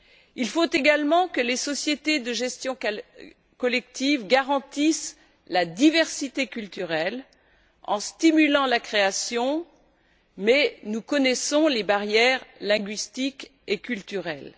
Il faut également que les sociétés de gestion collective garantissent la diversité culturelle en stimulant la création, mais nous connaissons les barrières linguistiques et culturelles.